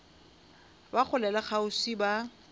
ba kgole le kgauswi ba